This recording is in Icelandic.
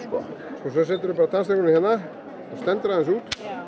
svo seturðu bara tannstöngulinn hérna stendur aðeins út